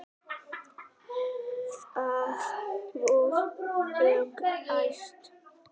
Það var ólæst.